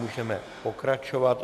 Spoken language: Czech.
Můžeme pokračovat.